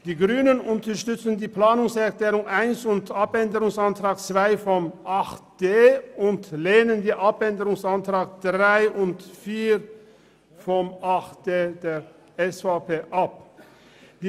Die Grünen unterstützen die Planungserklärung 1 und den Abänderungsantrag 2 und lehnen die Anträge 3 und 4 der SVP ab.